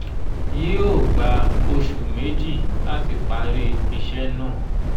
yí ó gba oṣù méjì láti parí ìṣe náà